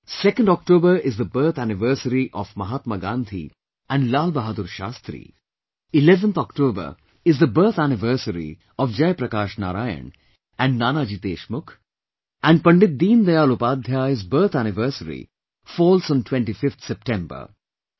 2nd October is the birth anniversary of Mahatma Gandhi and Lal Bahadur Shastri, 11th October is the birth anniversary of Jai Prakash Narain and Nanaji Deshmukh and Pandit Deen Dayal Upadhyay's birth anniversary falls on 25th September